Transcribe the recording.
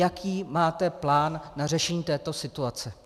Jaký máte plán na řešení této situace?